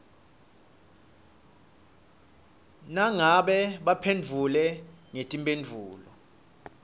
nangabe baphendvule ngetimphendvulo